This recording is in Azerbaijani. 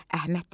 Əhməd dedi: